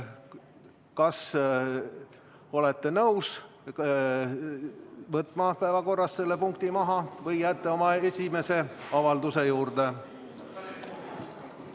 Kas te olete nõus, et see punkt võetakse päevakorrast välja, või jääte oma esimese avalduse juurde?